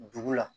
Dugu la